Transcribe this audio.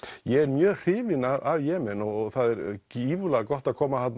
ég er mjög hrifinn af Jemen og það er gífurlega gott að koma þarna